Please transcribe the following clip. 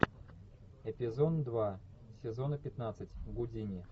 эпизод два сезона пятнадцать гудини